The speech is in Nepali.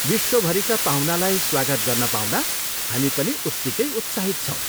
विश्वभरिका पाहुनालाई स्वागत गर्न पाउँदा हामी पनि उत्तिकै उत्साहित छौँ ।